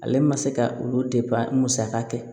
Ale ma se ka olu musaka kɛ